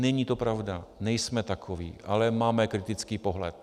Není to pravda, nejsme takoví, ale máme kritický pohled.